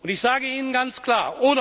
Ich sage Ihnen ganz klar.